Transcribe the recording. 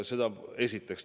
Seda esiteks.